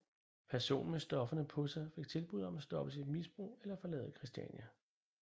Personen med stofferne på sig fik tilbuddet om at stoppe sit misbrug eller forlade Christiania